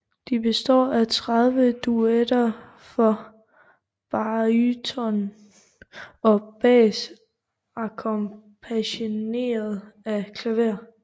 De består af 30 duetter for baryton og bas akkompagneret af klaver